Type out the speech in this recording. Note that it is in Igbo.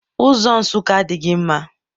Ụzọ Nsụka adịghị mma.